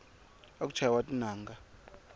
khale aku chayiwa tinanga